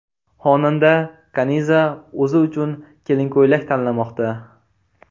Xonanda Kaniza o‘zi uchun kelin ko‘ylak tanlamoqda .